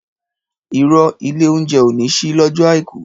Ìrõ, ìlé ounjé ò ní sí lõjõ aiku